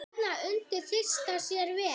Þarna undi Dysta sér vel.